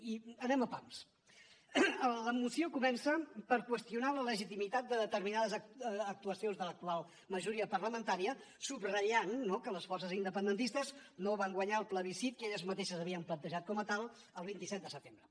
i anem a pams la moció comença per qüestionar la legitimitat de determinades actuacions de l’actual majoria parlamentària subratllant no que les forces independentistes no van guanyar el plebiscit que elles mateixes havien plantejat com a tal el vint set de setembre